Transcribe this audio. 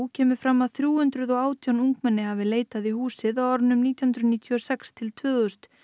kemur fram að þrjú hundruð og átján ungmenni hafi leitað í húsið á árunum nítján hundruð níutíu og sex til tvö þúsund